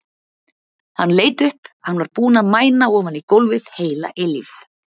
Hann leit upp, hann var búinn að mæna ofan í gólfið heila eilífð.